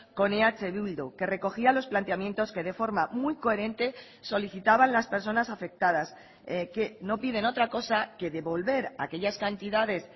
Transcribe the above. con eh bildu que recogía los planteamientos que de forma muy coherente solicitaban las personas afectadas que no piden otra cosa que devolver aquellas cantidades